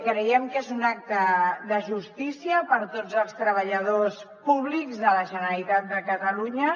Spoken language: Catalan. creiem que és un acte de justícia per tots els treballadors públics de la generalitat de catalunya